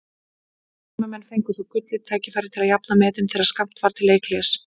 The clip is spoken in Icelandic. Heimamenn fengu svo gullið tækifæri til að jafna metin þegar skammt var til leikhlés.